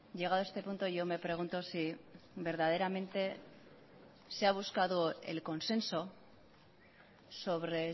llegado este punto yo me pregunto si verdaderamente se ha buscado el consenso sobre